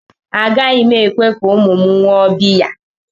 Agaghị m ekwe ka ụmụ m ṅụọ biya